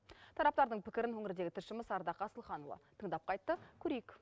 тараптардың пікірін өңірдегі тілшіміз ардақ асылханұлы тыңдап қайтты көрейік